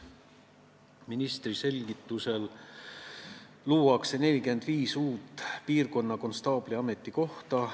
Ministri selgitusel luuakse 45 uut piirkonnakonstaabli ametikohta.